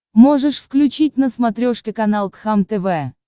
можешь включить на смотрешке канал кхлм тв